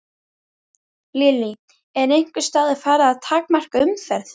Lillý: Er einhvers staðar farið að takmarka umferð?